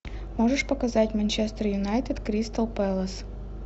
можешь показать манчестер юнайтед кристал пэлас